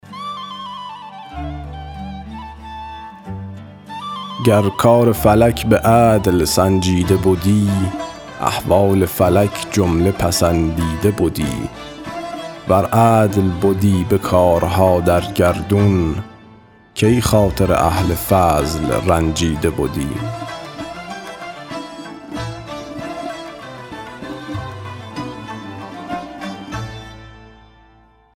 گر کار فلک به عدل سنجیده بدی احوال فلک جمله پسندیده بدی ور عدل بدی به کارها در گردون کی خاطر اهل فضل رنجیده بدی